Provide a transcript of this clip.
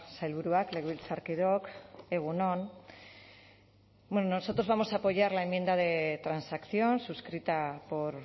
sailburuak legebiltzarkideok egun on nosotros vamos a apoyar la enmienda de transacción suscrita por